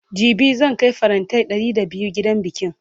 jibi zan Kai farantai Ɗari da biyu gidan bikin